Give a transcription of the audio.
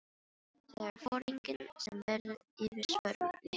Það er foringinn sem verður fyrir svörum, Lilli api.